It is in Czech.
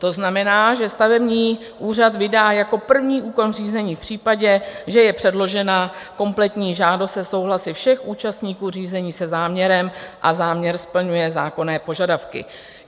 To znamená, že stavební úřad vydá jako první úkon řízení v případě, že je předložena kompletní žádost se souhlasy všech účastníků řízení se záměrem a záměr splňuje zákonné požadavky.